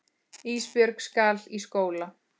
Ísbjörg skal í skóla.